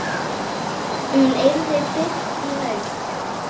Hún yrði birt í haust.